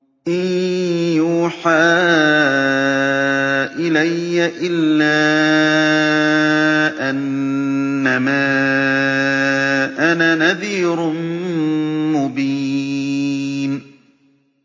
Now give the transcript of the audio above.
إِن يُوحَىٰ إِلَيَّ إِلَّا أَنَّمَا أَنَا نَذِيرٌ مُّبِينٌ